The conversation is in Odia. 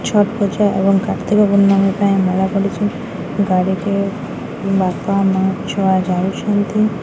ଛୋଟ ଛୁଆ ଏବଂ କ୍ରାତୀକ ପୂର୍ଣମୀ ପାଇଁ ମେଳା ଚାଲିଚି। ଗାଡି ଟିରେ ବାପା ମା ଛୁଆ ଯାଉଛନ୍ତି।